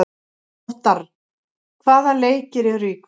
Óttarr, hvaða leikir eru í kvöld?